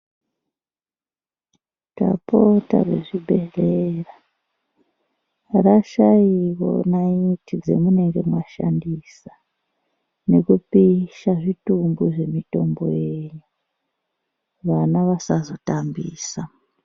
Tapota muzvibhehlera, rashaiwo naiti dzamunenge mashandisa, nekupisha zvitumbu zvemitombo yenyu, vana vasazotambisa.